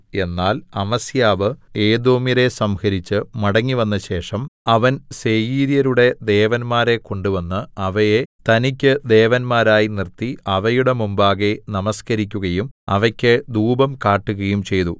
എന്നാൽ അമസ്യാവ് ഏദോമ്യരെ സംഹരിച്ച് മടങ്ങിവന്നശേഷം അവൻ സേയീര്യരുടെ ദേവന്മാരെ കൊണ്ടുവന്ന് അവയെ തനിക്ക് ദേവന്മാരായി നിർത്തി അവയുടെ മുമ്പാകെ നമസ്കരിക്കയും അവക്ക് ധൂപം കാട്ടുകയും ചെയ്തു